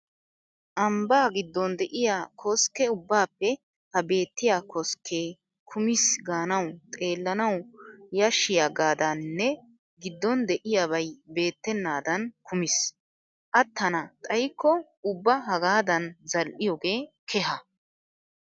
Ambbaa giddon de'iya koskke. ubbaappe ha beettiya koskkee kumiis gaanawu xeellanawu yashshiyagaadaaninne giddon de'iyabay beettennaadan kumiis. Attana xaykko ubba hagaadan zal''iyogee keha.